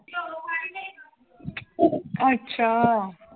ਅੱਛਾ।